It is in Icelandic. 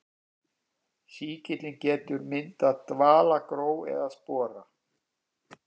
Sýkillinn getur myndað dvalagró eða spora.